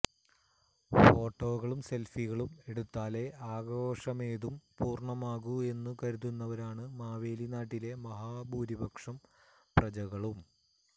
ഫോട്ടോകളും സെല്ഫികളും എടുത്താലേ ആഘോഷമേതും പൂര്ണമാകൂ എന്നു കരുതുന്നവരാണ് മാവേലിനാട്ടിലെ മഹാഭൂരിലക്ഷം പ്രജകളും